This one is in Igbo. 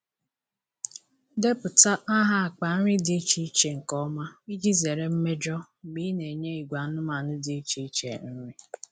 Depụta aha akpa nri dị iche iche nke ọma iji zere mmejọ mgbe ị na-enye ìgwè anụmanụ dị iche iche nri.